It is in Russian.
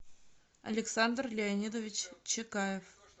александр леонидович чекаев